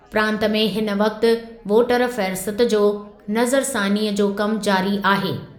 प्रांतु में हिन वक़्ति वोटर फ़हरिस्त जो नज़रसानीअ जो कमु जारी आहे।